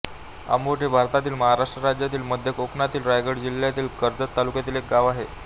आंबोट हे भारतातील महाराष्ट्र राज्यातील मध्य कोकणातील रायगड जिल्ह्यातील कर्जत तालुक्यातील एक गाव आहे